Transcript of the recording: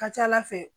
Ka ca ala fɛ